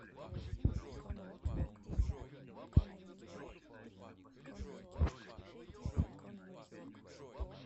передача на самом деле